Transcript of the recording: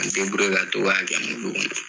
Ka n deburiye ka to ka kɛ muli kɔnɔ